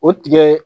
O tigɛ